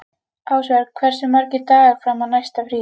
Ásvör, hversu margir dagar fram að næsta fríi?